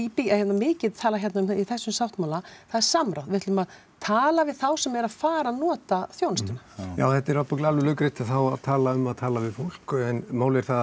mikið talað um í þessum sáttmála það er samráð við ætlum að tala við þá sem eru að fara að nota þjónustuna já þetta er ábyggilega alveg laukrétt það var talað um að tala við fólk en málið er það